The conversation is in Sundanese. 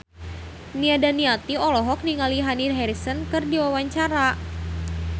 Nia Daniati olohok ningali Dani Harrison keur diwawancara